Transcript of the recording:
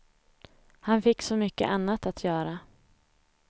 Han fick så mycket annat att göra.